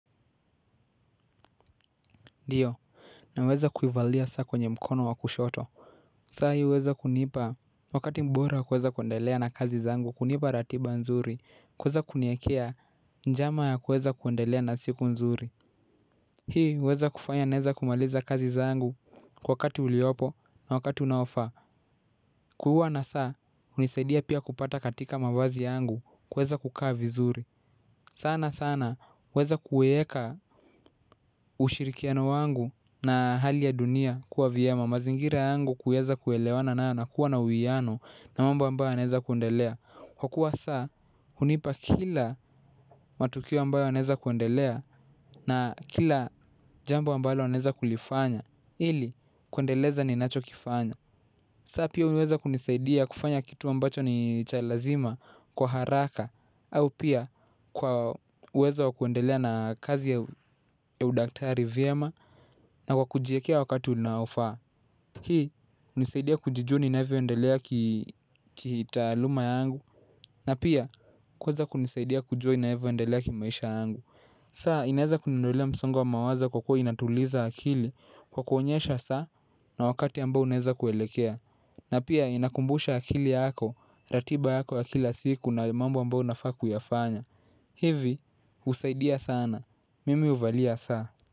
Ndiyo naweza kuivalia saa kwenye mkono wa kushoto. Sa hii huweza kunipa wakati mbora wa kuweza kuendelea na kazi zangu, kunipa ratiba nzuri, kuweza kuniekea njama ya kuweza kuendelea na siku nzuri. Hii huweza kufanya naweza kumaliza kazi zangu kwa wakati uliopo na wakati unaofaa. Kuwa na saa hunisaidia pia kupata katika mavazi yangu kuweza kukaa vizuri. Sana sana huweza kuweka ushirikiano wangu na hali ya dunia kuwa vyema, mazingira yangu kuweza kuelewana nayo na kuwa na uwiano na mambo ambayo yanaweza kuendelea kwa kuwa saa hunipa kila matukio ambayo yanaweza kuendelea na kila jambo ambalo naweza kulifanya ili kuendeleza ninachokifanya. Saa pia huweza kunisaidia kufanya kitu ambacho ni cha lazima kwa haraka au pia kwa uwezo wa kuendelea na kazi ya udaktari vyema na kwa kujiekea wakati unaofaa. Hii hunisaidia kujijua ninavyoendelea ki kitaaluma yangu, na pia kuweza kunisaidia kujua ninavyoendelea kimaisha yangu. Saa inaweza kuniondolea msongo wa mawazo kwa kuwa inatuliza akili, kwa kuonyesha saa na wakati ambao unaeza kuelekea, na pia inakumbusha akili yako, ratiba yako ya kila siku na mambo ambayo unafaa kuyafanya. Hivi, husaidia sana, mimi huvalia saa.